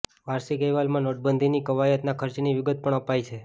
વાર્ષિક અહેવાલમાં નોટબંધીની કવાયતના ખર્ચની વિગત પણ અપાઈ છે